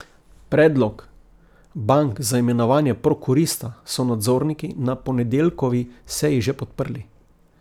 Predlog bank za imenovanje prokurista so nadzorniki na ponedeljkovi seji že podprli.